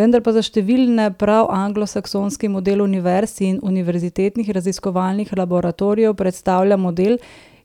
Vendar pa za številne prav anglosaksonski model univerz in univerzitetnih raziskovalnih laboratorijev predstavlja model,